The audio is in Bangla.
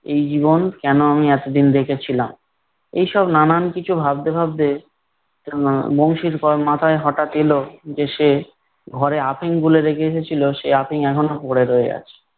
এই জীবন কেন আমি এতদিন রেখেছিলাম! এইসব নানান কিছু ভাবতে ভাবতে এর বংশীর মাথায় হঠাৎ এলো যে সে ঘরে আফিম গুলে রেখে এসেছিলো সে আফিম এখনো পড়ে রয়ে আছে।